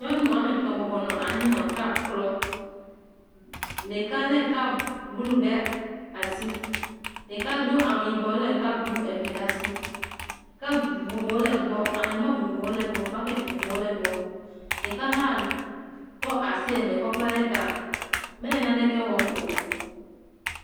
Nyɔnu wɔme etɔ̃ bɔbɔnɔ anyi nɔ kap klɔm. Ɖeka le kap blu ɖe asi. Ɖeka do awu yibɔ le kap blu eve ɖe asi. Kap vovovowo le egb, aŋegba vovovowo le egbɔ, buketi vovovowo le egbɔ. Ɖeka hã kɔ asi eve kɔ kpla ɖe ta. Me le naneke wɔm o.